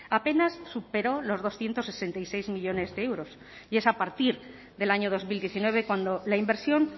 apenas superó los doscientos sesenta y seis millónes de euros y es a partir del año dos mil diecinueve cuando la inversión